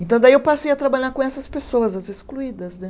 Então, daí eu passei a trabalhar com essas pessoas, as excluídas, né?